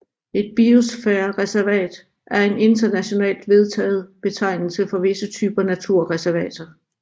Et biosfærereservat er en internationalt vedtaget betegnelse for visse typer naturreservater